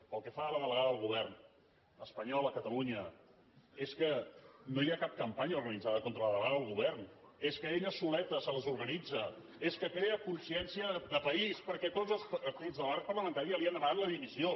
pel que fa a la delegada del govern espanyol a catalunya és que no hi ha cap campanya organitzada contra la delegada del govern és que ella soleta se les organitza és que crea consciència de país perquè tots els partits de l’arc parlamentari li han demanat la dimissió